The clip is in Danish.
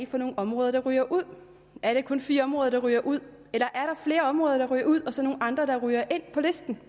for nogle områder der ryger ud er det kun fire områder der ryger ud eller er der flere områder der ryger ud og så nogle andre der ryger ind på listen